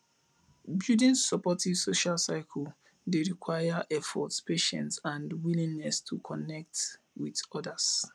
building supportive social circles dey require effort patience and a willingness to connect with odas